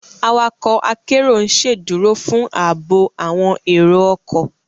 Awakọ akero n ṣeduro fun aabo awọn ero ọkọ